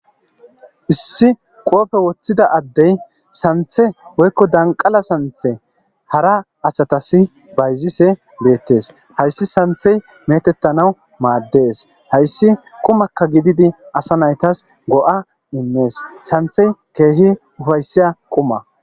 issi qoofe woththida addey santhe woykko danqala santhe hara asatasi bayzise beettes hayssi santhey metettanawu maaddees hayssi qumakka gididi asa naytas go7a immees santhey keehi ufayssiya quma